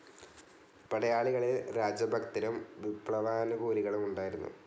പടയാളികളിൽ രാജഭക്തരും വിപ്ലവാനുകൂലികളും ഉണ്ടായിരുന്നു.